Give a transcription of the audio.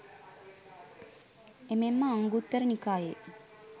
එමෙන්ම අංගුත්තර නිකායේ